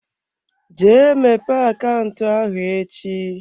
Jee mepee akaụntụ ahụ echi.